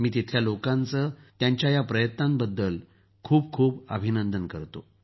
मी तिथल्या लोकांना त्यांच्या प्रयत्नांबद्दल त्यांचं खूप खूप अभिनंदन करतो